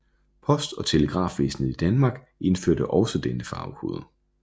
Post og Telegrafvæsenet i Danmark indførte også denne farvekode